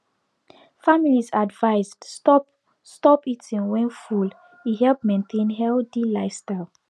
families advised stop stop eating when full e help maintain healthy lifestyle